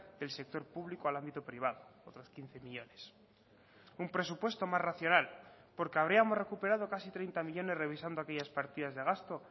del sector público al ámbito privado otros quince millónes un presupuesto más racional porque habríamos recuperado casi treinta millónes revisando aquellas partidas de gasto